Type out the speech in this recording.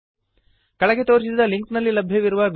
ಕೆಳಗೆ ತೋರಿಸಿದ ಲಿಂಕ್ನಲ್ಲಿ ಲಭ್ಯವಿರುವ ವೀಡಿಯೋವನ್ನು ನೋಡಿರಿ